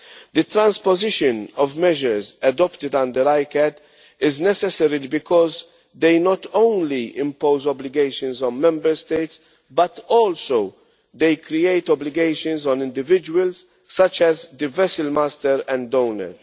The transposition of measures adopted under ICCAT is necessary because they not only impose obligations on Member States but also create obligations for individuals, such as the vessel master and owner.